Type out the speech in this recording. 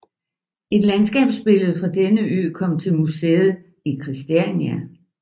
Et landskabsbillede fra denne ø kom til museet i Christiania